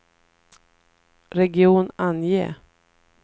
region, ange